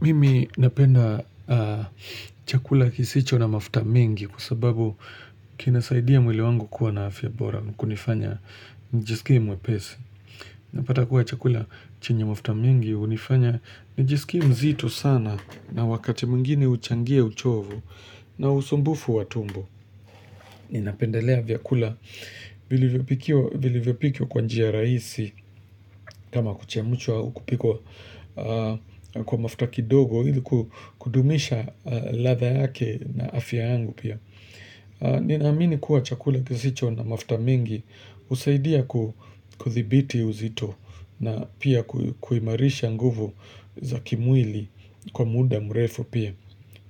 Mimi napenda chakula kisicho na mafuta mingi kwa sababu kinasaidia mwili wangu kuwa na afya bora kunifanya njisikie mwepesi. Napata kuwa chakula chenye mafuta mingi unifanya njisikie mzito sana na wakati mwingine uchangia uchovu na usumbufu wa tumbo. Ninapendelea vyakula vilivyopikio kwa njia raisi kama kuchemuchwa au kupikwa kwa mafta kidogo ili kudumisha latha yake na afya yangu pia Ninaamini kuwa chakula kisicho na mafta mingi usaidia kuthibiti uzito na pia kuimarisha nguvu za kimwili kwa muda mrefu pia